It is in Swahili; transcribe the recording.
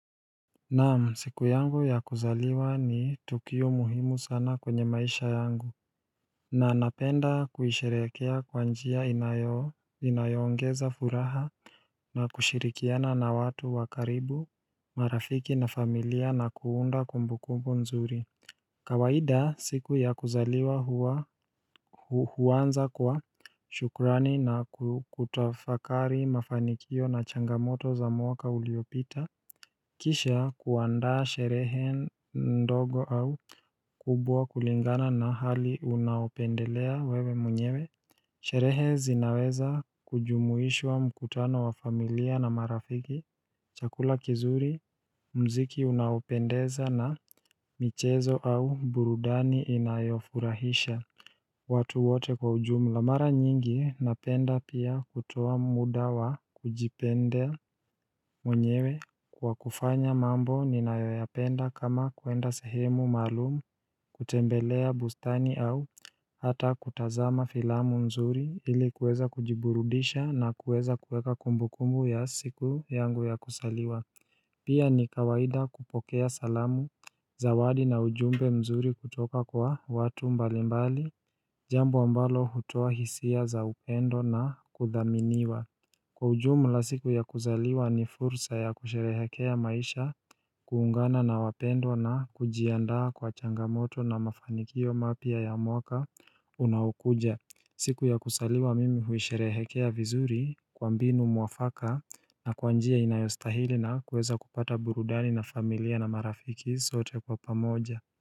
Naam siku yangu ya kuzaliwa ni tukio muhimu sana kwenye maisha yangu Nanapenda kuhisherekea kwa njia inayoongeza furaha na kushirikiana na watu wa karibu marafiki na familia na kuunda kumbukumbu nzuri kawaida siku ya kuzaliwa huanza kwa shukrani na kutafakari mafanikio na changamoto za mwaka uliopita Kisha kuandaa sherehe ndogo au kubwa kulingana na hali unaopendelea wewe mwenyewe Sherehe zinaweza kujumuishwa mkutano wa familia na marafiki Chakula kizuri mziki unaopendeza na michezo au burudani inayofurahisha watu wote kwa ujumla mara nyingi napenda pia kutoa muda wa kujipendea mwenyewe Kwa kufanya mambo ninayoyapenda kama kuenda sehemu maalumu kutembelea bustani au hata kutazama filamu mzuri Hili kueza kujiburudisha na kueza kueka kumbu kumbu ya siku yangu ya kuzaliwa Pia ni kawaida kupokea salamu Zawadi na ujumbe mzuri kutoka kwa watu mbalimbali Jambo ambalo hutoa hisia za upendo na kuthaminiwa Kwa ujumla siku ya kuzaliwa ni fursa ya kusherehekea maisha kuungana na wapendwa na kujiandaa kwa changamoto na mafanikio mapya ya mwaka unaowukuja siku ya kuzaliwa mimi huisherehekea vizuri kwa mbinu mwafaka na kwa njia inayostahili na kuweza kupata burudani na familia na marafiki sote kwa pamoja.